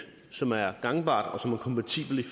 som er gangbart og som er kompatibelt